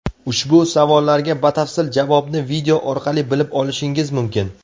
Ushbu savollarga batafsil javobni video orqali bilib olishingiz mumkin.